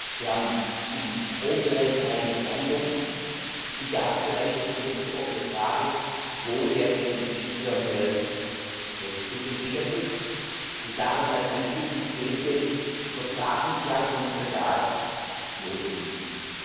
Wir haben im Strombereich eigentlich Einigung, im Gasbereich ist die letzte offene Frage, wo der LNG Terminal zu entwickeln ist, und daran anknüpfend, welche Übertragungsleitungen für Gas notwendig sind.